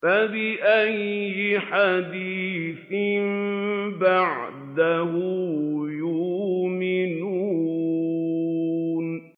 فَبِأَيِّ حَدِيثٍ بَعْدَهُ يُؤْمِنُونَ